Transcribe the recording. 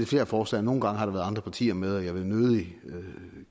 flere forslag nogle gange har der været andre partier med og jeg vil nødig